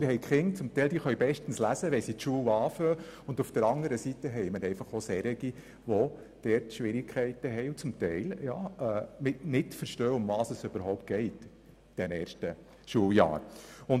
Es gibt Kinder, die können bestens lesen, wenn sie in die Schule eintreten, und auf der anderen Seite gibt es solche, die nicht verstehen, worum es überhaupt geht in den ersten Schuljahren.